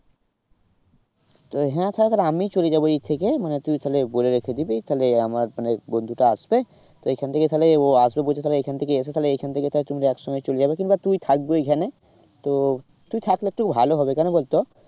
হ্যাঁ তাহলে, তাহলে আমি চলে যাবো এ থেকে তুই তাহলে বলে রেখে দিবি তাহলে আমার মানে বন্ধুটা আসবে তো এইখান থেকে তাহলে ও আসবে বলছে তাহলে এখান থেকে এসে তাহলে এইখান থেকে তাহলে তোমরা এক সঙ্গে চলে যাবে কিংবা তুই থাকবি ওইখানে তো তুই থাকলে একটু ভালো হবে কেন বলতো